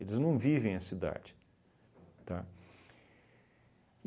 Eles não vivem na cidade, tá?